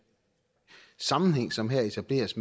sammenhæng som her etableres